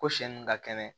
Ko sɛ nun ka kɛnɛ